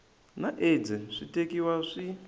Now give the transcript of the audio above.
na aids swi tekiwa swi